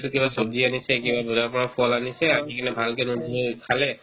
এইটো কিবা ছব্জিয়ে আনিছে কিবা বজাৰৰ পৰা ফল আনিছে আনি কিনে ভালকে নোধোৱাকৈ খালে